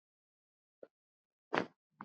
Hún er með tyggjó.